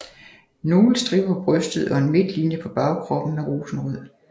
Nogle striber på brystet og en midtlinje på bagkroppen er rosenrød